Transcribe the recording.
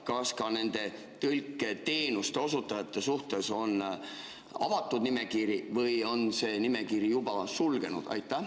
Ja kas ka nende tõlketeenuste osutajate suhtes on avatud nimekiri või on see nimekiri juba sulgunud?